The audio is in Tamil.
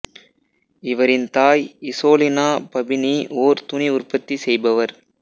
இவரின் தாய் இசோலினா பபினி ஓர் துணி உற்பத்தி செய்பவர்